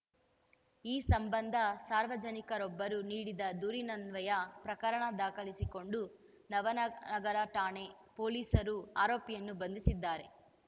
ಈ ಸಂಬಂಧ ಸಾರ್ವಜನಿಕರೊಬ್ಬರು ನೀಡಿದ ದೂರಿನನ್ವಯ ಪ್ರಕರಣ ದಾಖಲಿಸಿಕೊಂಡ ನವನಗರ ಠಾಣೆ ಪೊಲೀಸರು ಆರೋಪಿಯನ್ನು ಬಂಧಿಸಿದ್ದಾರೆ